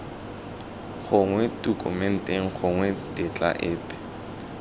gongwe tokumente gongwe tetla epe